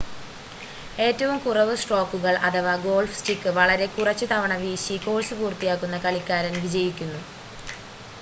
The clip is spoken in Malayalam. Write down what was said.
ഏറ്റവും കുറവ് സ്ട്രോക്കുകൾ അഥവാ ഗോൾഫ് സ്റ്റിക്ക് വളരെ കുറച്ച് തവണ വീശി കോഴ്സ് പൂർത്തിയാക്കുന്ന കളിക്കാരൻ വിജയിക്കുന്നു